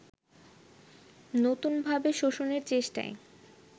নতুনভাবে শোষণের চেষ্টায়